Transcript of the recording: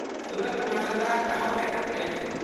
Surat Malda town express